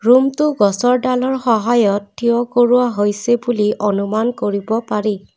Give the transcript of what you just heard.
ৰুমটো গছৰ ডালৰ সহায়ত থিয় কৰোৱা হৈছে বুলি অনুমান কৰিব পাৰি।